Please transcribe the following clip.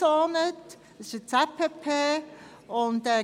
es handelt sich um eine Zone mit Planungspflicht (ZPP).